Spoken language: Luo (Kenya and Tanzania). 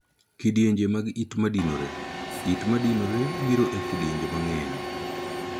kidienje mag it madinore. It madinore biro e kidienje mang'eny.